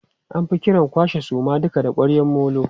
An fi kiran kwashe duka suman da ƙwaryan molo.